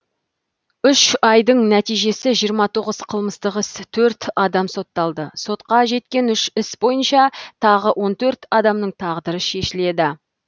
үш айдың нәтижесі жиырма тоғыз қылмыстық іс төрт адам сотталды сотқа жеткен үш іс бойынша тағы он төрт адамның тағдыры шешіледі